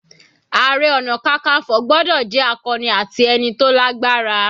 Ààrẹ ọna kankanfo gbọ́dọ̀ jẹ́ akọni ati ẹni tó lágbára.